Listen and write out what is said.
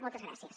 moltes gràcies